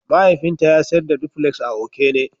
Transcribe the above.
Mahaifinta ya sayar da dupuleks a Okene.